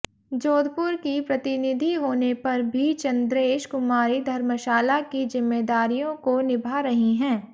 जोधपुर की प्रतिनिधि होने पर भी चंद्रेश कुमारी धर्मशाला की जिम्मेदारियों को निभा रही हैं